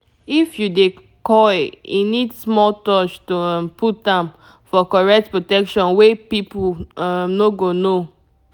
if you dey coil e need small touch to um put am--for correct protection wey people um no go know